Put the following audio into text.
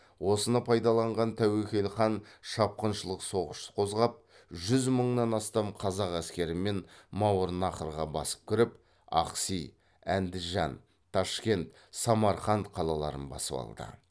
осыны пайдаланған тәуекел хан шапқыншылық соғыс қозғап жүз мыңнан астам қазақ әскерімен мауырнахрға басып кіріп ахси әндіжан ташкент самарқанд қалаларын басып алды